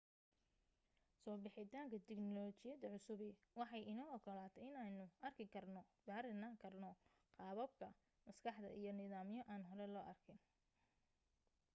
soo bixitaanka tignolajiyada cusubi waxay inoo ogolaatay inaynu arki karno baarina karno qaababka maskaxda iyo nidaamyo aan hore loo arkin